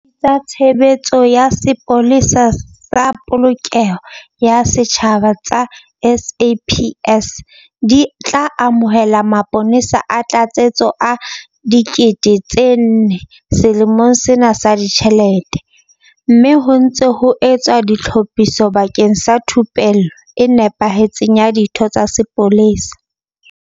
Diyuniti tsa Tshebeletso ya Sepolesa sa Polokeho ya Setjhaba tsa SAPS di tla amohela mapolesa a tlatsetso a 4 000 selemong sena sa ditjhelete, mme ho ntse ho etswa ditlhophiso bakeng sa thupello e nepahetseng ya ditho tsa sepolesa.